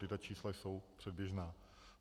Tato čísla jsou předběžná.